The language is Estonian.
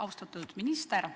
Austatud minister!